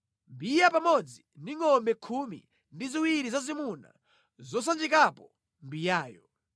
mbiya pamodzi ndi ngʼombe khumi ndi ziwiri zazimuna zosanjikapo mbiyayo.